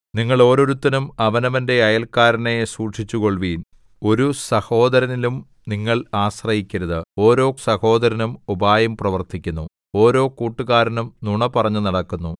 നിങ്ങൾ ഓരോരുത്തനും അവനവന്റെ അയല്‍ക്കാരനെ സൂക്ഷിച്ചുകൊള്ളുവിൻ ഒരു സഹോദരനിലും നിങ്ങൾ ആശ്രയിക്കരുത് ഓരോ സഹോദരനും ഉപായം പ്രവർത്തിക്കുന്നു ഓരോ കൂട്ടുകാരനും നുണപറഞ്ഞു നടക്കുന്നു